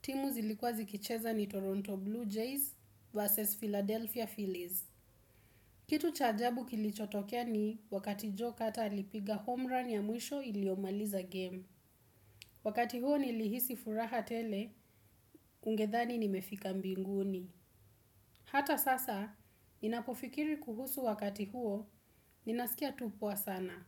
Timu zilikuwa zikicheza ni Toronto Blue Jays versus Philadelphia Phillies. Kitu cha ajabu kilichotokea ni wakati jokata alipiga homerun ya mwisho iliomaliza game. Wakati huo nilihisi furaha tele, ungedhani nimefika mbinguni. Hata sasa, ninapofikiri kuhusu wakati huo, ninaskia tu poa sana.